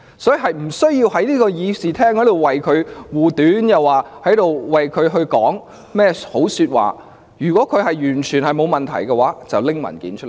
所以，他們無須在議事廳上為鄭若驊護短及說好話，如果她完全沒有問題，就把文件交出來吧。